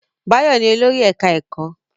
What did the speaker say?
Báyọ̀ ni olórí ẹ̀ká ẹ̀kọ́